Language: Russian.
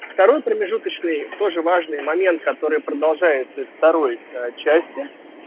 второй промежуточный тоже важный момент который продолжается из второй части